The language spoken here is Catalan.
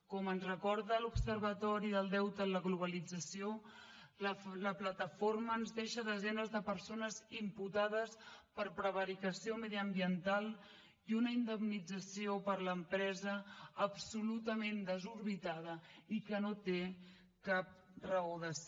com ens recorda l’observatori del deute en la globalització la plataforma ens deixa desenes de persones imputades per prevaricació mediambiental i una indemnització per a l’empresa absolutament desorbitada i que no té cap raó de ser